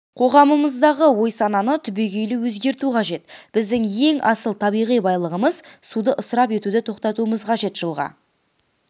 қоғамымыздағы ой-сананы түбегейлі өзгерту қажет біздің ең асыл табиғи байлығымыз суды ысырап етуді тоқтатуымыз қажет жылға